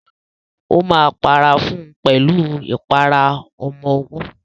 Ó máa para fún pẹ̀lú ìpara ọmọwọ́.